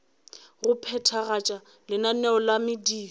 go phethagatša lenaneo la mediro